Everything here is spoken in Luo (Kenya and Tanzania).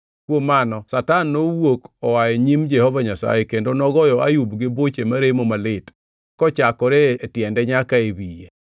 Kuom mano Satan nowuok oa e nyim Jehova Nyasaye, kendo nogoyo Ayub gi buche maremo malit, kochakore e tiende nyaka e wiye.